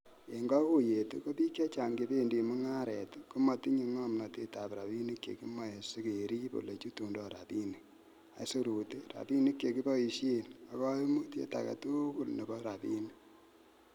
En koguyet ko bik chechang chebendi mungaret, komotindoi ngomnotet ab rabinik chekimoe sikerib ele chutundoi rabinik, aisurut, rabinik che kiboishen ak koimutiet agetugul nebo rabinik.